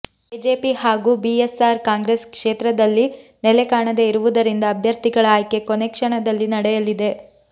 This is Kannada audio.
ಕೆಜೆಪಿ ಹಾಗೂ ಬಿಎಸ್ಆರ್ ಕಾಂಗ್ರೆಸ್ ಕ್ಷೇತ್ರದಲ್ಲಿ ನೆಲೆ ಕಾಣದೇ ಇರುವುದರಿಂದ ಅಭ್ಯರ್ಥಿಗಳ ಆಯ್ಕೆ ಕೊನೆ ಕ್ಷಣದಲ್ಲಿ ನಡೆಯಲಿದೆ